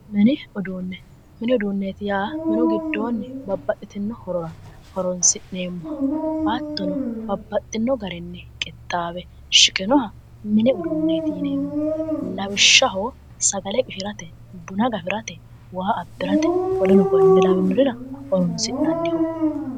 Mini uduunne mini uduunneeti yaa minu giddoonni babbaxxitino horora horonsi'neemmoho hattono babbaxxino garinni qixxaawe shiqinoha mini uduunneeti yineemmo lawishshaho sagale qishirate buna gafirate waa abbirate woleno konne lawinorira horoonsi'nanniho